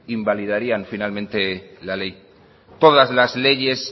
invalidarían finalmente la ley todas las leyes